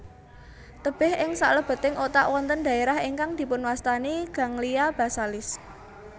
Tebih ing saklebeting otak wonten dhaerah ingkang dipunwastani ganglia basalis